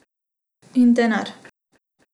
In denar.